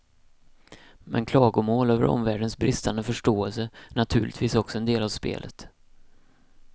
Men klagomål över omvärldens bristande förståelse är naturligtvis också en del av spelet.